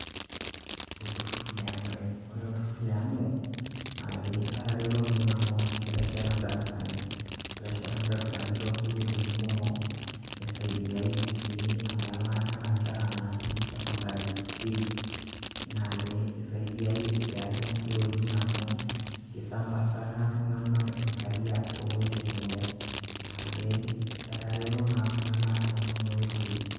Olturur le Amref, ore olturur le amref naake etareto oleng' amu ketesheta ndarasani, etesheta ndarasani too sukuulini kumok, nisaidiaye sii amu elaakita nkera natii secondary fee ,naake isaidiaye sii ake nkulie woitin amu isambazaka iltung'anak inkariak to woitin kumok, naake etareto naa iltung'anak too nana oitoi.